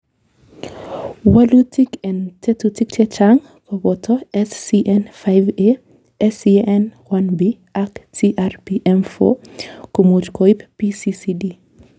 Wolutik en tekutik chechang', koboto SCN5A, SCN1B ak TRPM4 , komuch koib PCCD.